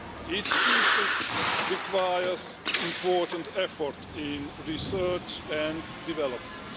Each species requires important effort in research and development.